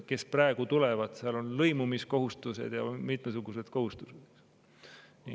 Kes praegu tulevad, nendele kehtivad lõimumiskohustused ja mitmesugused muud kohustused.